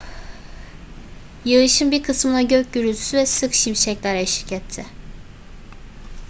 yağışın bir kısmına gök gürültüsü ve sık şimşekler eşlik etti